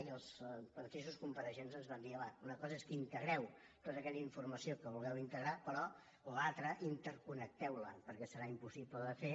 i els mateixos compareixents ens van dir home una cosa és que integreu tota aquella informació que voleu integrar però l’altra interconnecteu la perquè serà impossible de fer